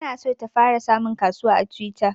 Ta na so ta fara samun kasuwa a twitter